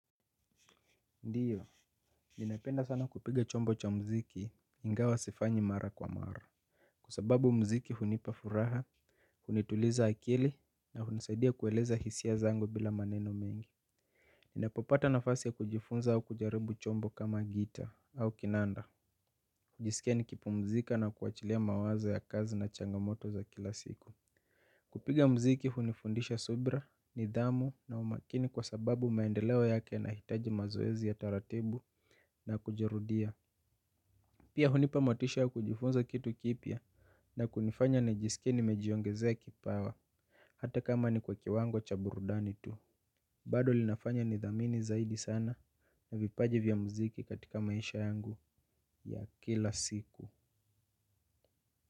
Ndio ninapenda sana kupiga chombo cha muziki ingawa sifanyi mara kwa mara kwa sababu muziki hunipa furaha hunituliza akili na hunisaidia kueleza hisia zangu bila maneno mengi ninapopata nafasi ya kujifunza au kujaribu chombo kama gitaa au kinanda hujisikia nikipumzika na kuachilia mawazo ya kazi na changamoto za kila siku kupiga muziki hunifundisha subira nidhamu na umakini kwa sababu maendeleo yake yanahitaji mazoezi ya taratibu na kujirudia pia hunipa motisha ya kujifunza kitu kipya na kunifanya nijisikie nimejiongezea kipawa hata kama ni kwa kiwango cha burudani tu bado linafanya nidhamini zaidi sana na vipaji vya muziki katika maisha yangu ya kila siku.